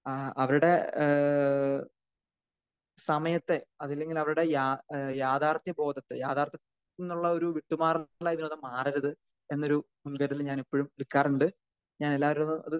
ആഹ് അവരുടെ ഏഹ് സമയത്തെ അതിലിങ്ങനെ അവരുടെ ഏഹ് യാഥാർഥ്യ ബോധത്തെ യാഥാർഥ്യം എന്നുള്ള ഒരു വിട്ടുമാറൽ ആയിട്ട് അവര് മാറരുത് എന്നൊരു സംശയത്തിൽ ഞാൻ ഇപ്പഴും എടുക്കാറുണ്ട്. .ഞാൻ എല്ലാരോടും